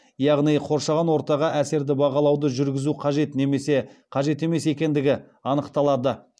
яғни қоршаған ортаға әсерді бағалауды жүргізу қажет немесе қажет емес екендігі анықталады